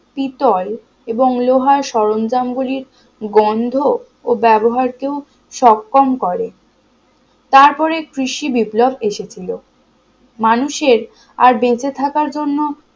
পিতল এবং লোহার সরঞ্জাম গুলির গন্ধ ও ব্যবহার কেউ সক্ষম করে তারপরে কৃষি বিপ্লব এসেছিল মানুষের আর বেঁচে থাকার জন্য